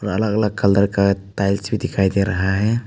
अलग अलग कलर का टाइल्स भी दिखाई दे रहा है।